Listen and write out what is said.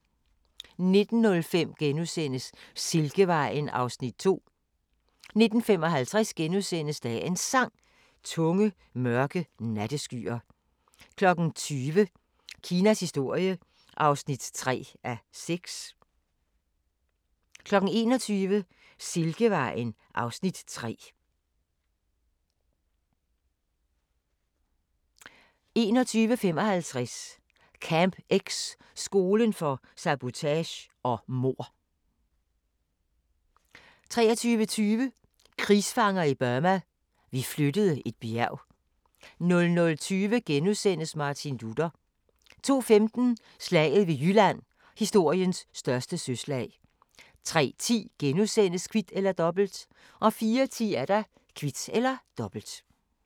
19:05: Silkevejen (Afs. 2)* 19:55: Dagens Sang: Tunge, mørke natteskyer * 20:00: Kinas historie (3:6) 21:00: Silkevejen (Afs. 3) 21:55: Camp X – skolen for sabotage og mord 23:20: Krigsfanger i Burma – vi flyttede et bjerg 00:20: Martin Luther * 02:15: Slaget ved Jylland – historiens største søslag 03:10: Kvit eller Dobbelt * 04:10: Kvit eller Dobbelt